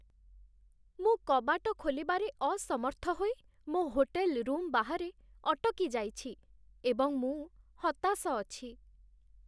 ମୁଁ କବାଟ ଖୋଲିବାରେ ଅସମର୍ଥ ହୋଇ ମୋ ହୋଟେଲ୍ ରୁମ୍ ବାହାରେ ଅଟକି ଯାଇଛି ଏବଂ ମୁଁ ହତାଶ ଅଛି।